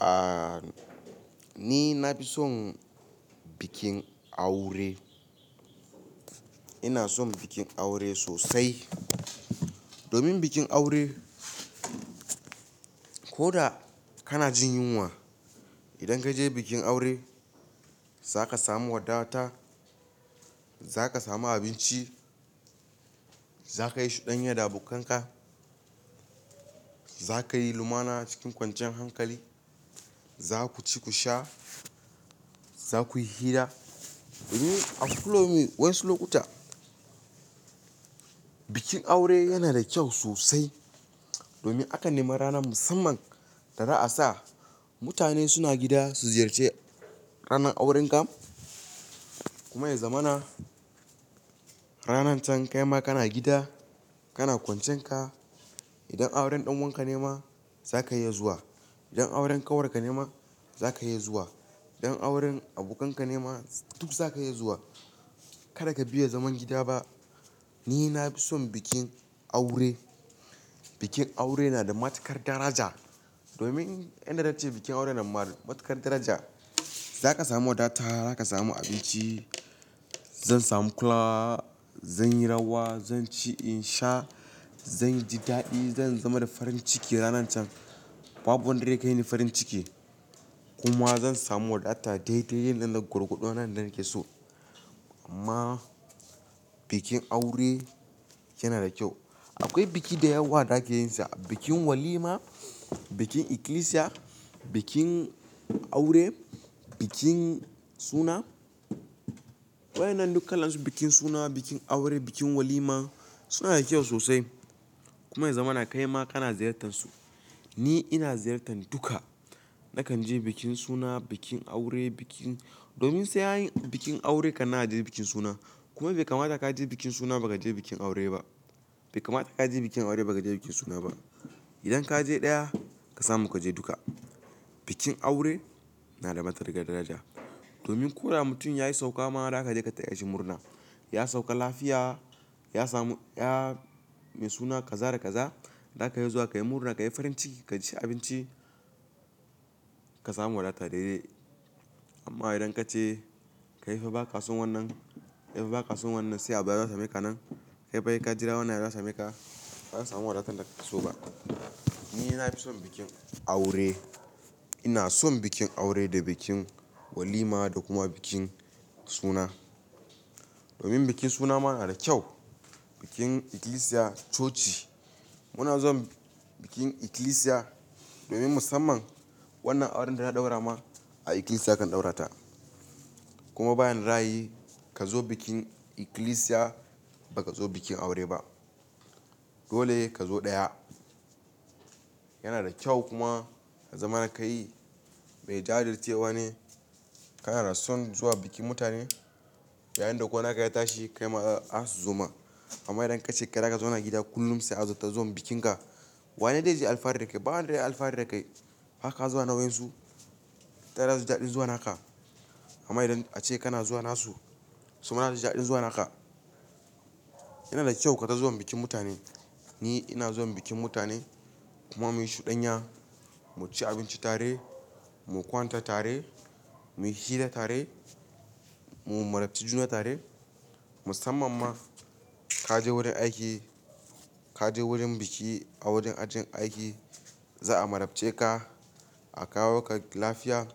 Aaa, nina fi son bikin aure. Ina son bikin aure sosai. Domin bikin aure, koda kanajin yunwa, idan kaje bikin aure zaka samu wadata, zaka samu abinci, zakayi shudanya da abokanka, zakayi lumana cikin kwanciyar hankali. Za kuci kusha, za kuyi hira. A wasu lokuta, bikin aure yanada kyau sosai domin aka nemi rana musamman da za'asa mutane suna gida su ziyarci ranar aurenka. Kuma ya zamana, ranar can kaima kana gida, kana kwancenka. Idan auren ɗan uwanka ne ma zaka iya zuwa. Idan auren kanwarka nema zaka iya zuwa. Idan auren abokanka ne ma duk za ka iya zuwa. Kada ka biya zaman gida ba. Ni na fi son bikin aure. Bikin aure yanada matuƙar daraja. Domin inda zance bikin aure yana da matuƙar daraja. Zaka samu wadata, zaka samu abinci. Zan samu kulawa, zanyi rawa, zan ci, in sha, zanji daɗi, zan zama da farin ciki ranar can. Babu wanda zai kaini farin ciki. Kuma zan samu wadata daidai yanzu nan, gwargwado yanda nakeso. Amma bikin aure yana da kyau. Akwai biki da yawa da ake yinsa. Bikin walima, bikin ikilisiya, bikin aure, bikin suna. Waɗannan duk kalansu, bikin suna, bikin aure, bikin walima sunada kyau sosai. Kuma ya zamana kaima kana ziyartar su. Ni ina ziyartar duka. Nakanje bikin suna, bikin aure, bikin domin sai anyi bikin aure kannan aje bikin suna. Kuma bai kamata ka je bikin suna ba ka je bikin aure ba. Bai kamata ka je bikin aure ba ka je bikin suna ba. Idan kaje ɗaya ka samu kaje duka. Bikin aure nada matukar daraja. Domin koda mutum yayi saukama za kaje ka tayashi murna. Ya sauka lafiya, ya samu, ya mai suna kaza da kaza. Zaka iya zuwa kayi murna, kayi farin ciki, ka ci abinci, ka samu wadata daidai. Amma idan kace, kaifa baka son wannan, in baka son wannan sai a baya za su miƙa nan. Kaifa saika jira wannan yazo yasa meka. Ba'a samu wadatanda a kesoba. Ninafi son bikin aure. Ina son bikin aure da bikin walima da kuma bikin suna. Domin bikin suna ma yanada kyau. Bikin ikilisiya, coci. Muna zuwa bikin kilisiya domin musamman wannan auren da za'a ɗaurama a ikilisiya a kan ɗaurata. Kuma bayanda za'ayi kazo bikin ikilisiya ba kazo bikin aure ba. Dole kazo ɗaya. Yanada kyau kuma ya zamana kai mai jajircewa ne. Kanada son zuwa bikin mutane yayinda ko naka ya tashi kaima asu zoma. Amma idan kace kai zaka zauna gida kullum sai a zo ta zo bikin ka. Wane zai yi alfahari da kai? Ba wanda yayi alfahari da kai baka zuwa na wayansu. Taya zasuji daɗin zuwa naka. Amma idan a ce kana zuwa nasu, suma suma zasuji daɗin zuwa naka. Yana da kyau kaga zuwan bikin mutane. Ni ina zuwa bikin mutane kuma muyi shudanya, muci abinci tare, mu kwanta tare, muyi hira tare, mu marabci juna tare. Musamman ma kaje wurin aiki, kaje wurin biki a wurin ajin aiki za'a marabce ka, a kawo ka lafiya.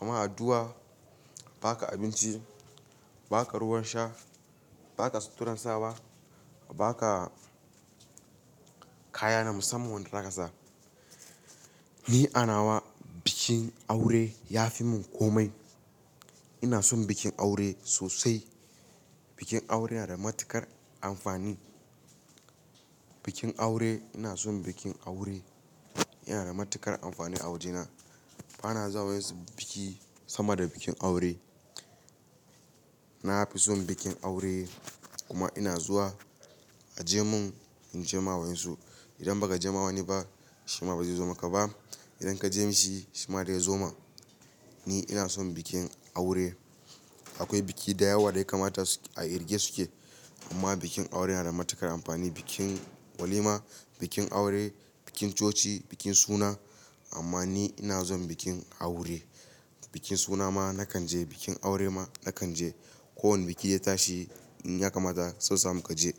Amma adduwa baka abinci, baka ruwan sha, baka suturan sawa, ba ka kaya na musamman wanda zaka sa. Ni anawa bikin aure ya fi mun komai. Ina son bikin aure sosai. Bikin aure yana da matuƙar amfani. Bikin aure, ina son bikin aure. Yana da matuƙar amfani a wajena. Bana zuwa wa'ensu biki sama da bikin aure. Nafi son bikin aure kuma ina zuwa aje mun inje mawayansu. Idan ba kajema wani ba shima ba zaizo maka ba. Idan kaje mashi shima zaizo ma. Ni ina son bikin aure. Akwai biki da yawa daya kamata a riƙe suke. Amma bikin aure yanada matuƙar amfani. Bikin walima, bikin aure, bikin coci, bikin suna. Amma ni ina son bikin aure. Bikin sunama nakanje, bikin aure ma na kanje. Ko wane biki ya tashi in ya kamata so samu kaje.